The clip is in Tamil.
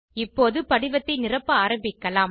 இப்போது படிவத்தை நிரப்ப ஆரம்பிக்கலாம்